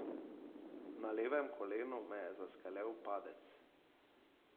Na levem kolenu me je zaskelel padec.